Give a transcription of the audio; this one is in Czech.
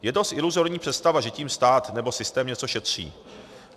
Je dost iluzorní představa, že tím stát nebo systém něco šetří.